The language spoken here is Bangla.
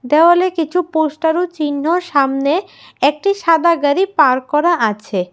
দেওয়ালে কিছু পোস্টার ও চিহ্ন সামনে একটি সাদা গাড়ি পার্ক করা আছে।